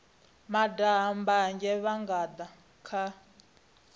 daha mbanzhe vha nga kha